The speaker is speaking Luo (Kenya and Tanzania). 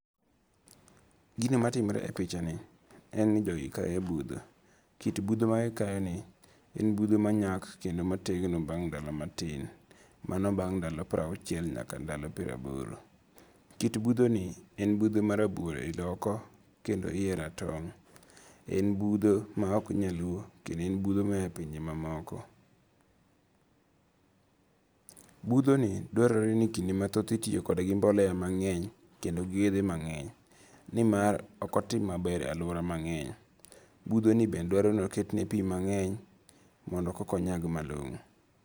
Gino ma timore e pichani, en ni jogi kayo butho, kit butho magikayoni, en butho manyak kendo mategno bang' ndalo matin, mano bang' ndalo prauchiel nyaka ndalo praboro, kit buthoni en butho marabuor oko kendo hiye ratong' en butho ma ok nyaluo kendo en butho ma oya e pinje mamoko, buthoni dwarore ni kinde mathoth itiyo kode gi mbolea mange'ny kendo gi yethe mange'ny, ni mar ok otim maber e aluora mange'ny, buthoni bende dwaro ni oketne pi mange'ny mondo kokonyag malongo'